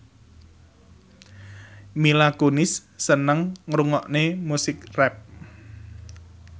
Mila Kunis seneng ngrungokne musik rap